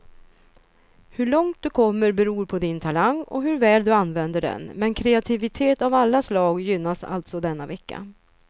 Hur långt du kommer beror på din talang och hur väl du använder den, men kreativitet av alla slag gynnas alltså denna vecka.